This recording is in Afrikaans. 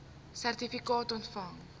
sertifikaat ontvang